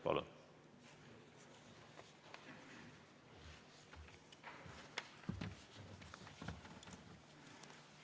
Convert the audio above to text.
Palun!